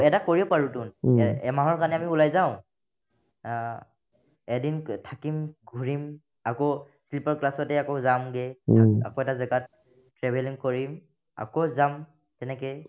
এটা কৰিব পাৰোতোন এ এমাহৰ কাৰণে আমি ওলাই যাও আ এদিনক থাকিম ঘূৰিম আকৌ sleeper class তে আকৌ যাম গে থাক্ আকৌ এটা জাগাত travelling কৰিম আকৌ যাম তেনেকে